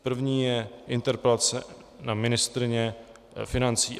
První je interpelace na ministryni financí.